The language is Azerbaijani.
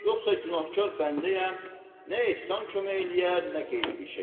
Yoxsa günahkar bəndəyəm, nə ehsan kömək eləyər, nə qeyri bir şey.